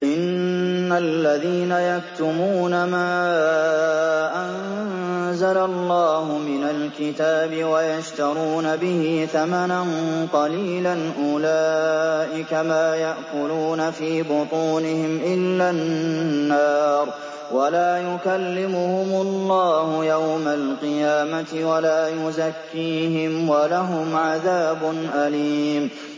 إِنَّ الَّذِينَ يَكْتُمُونَ مَا أَنزَلَ اللَّهُ مِنَ الْكِتَابِ وَيَشْتَرُونَ بِهِ ثَمَنًا قَلِيلًا ۙ أُولَٰئِكَ مَا يَأْكُلُونَ فِي بُطُونِهِمْ إِلَّا النَّارَ وَلَا يُكَلِّمُهُمُ اللَّهُ يَوْمَ الْقِيَامَةِ وَلَا يُزَكِّيهِمْ وَلَهُمْ عَذَابٌ أَلِيمٌ